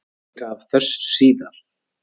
Meira af þessu síðar.